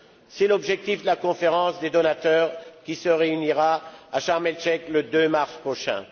C'est l'objectif de la conférence des donateurs qui se réunira à Sharm el Cheikh le 2 mars prochain.